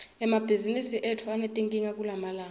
emabhizimisi etfu anetinkinga kulamalanga